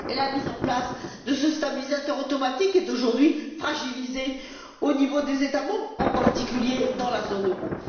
La mise en place de ce stabilisateur automatique est aujourd'hui fragilisée au niveau des États membres, en particulier, dans la zone euro.